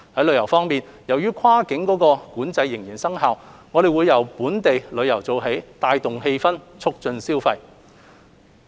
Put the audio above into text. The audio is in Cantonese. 旅遊方面，由於跨境管制仍然生效，我們會由本地旅遊做起，帶動氣氛並促進消費。